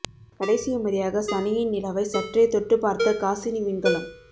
கடைசி முறையாக சனியின் நிலவை சற்றே தொட்டுப் பார்த்த காஸினி விண்கலம்